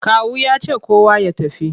Kawu ya ce kowa ya tafi!